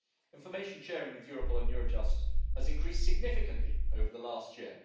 Information sharing with Europol and Eurojust has increased significantly over the last year.